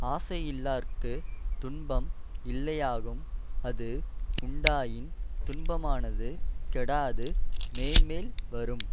ஆசையில்லார்க்குத் துன்பம் இல்லையாகும் அஃது உண்டாயின் துன்பமானது கெடாது மேன்மேல் வரும்